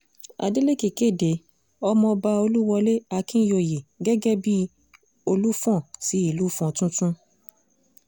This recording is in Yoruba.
adélèkẹ́ kéde ọmọọba olúwọlé akínyòòyè gẹ́gẹ́ bíi olùfọ́n ti ìlú ìfọ́n tuntun